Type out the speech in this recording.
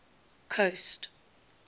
coast